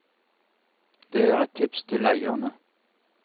Det er et tips til eierne.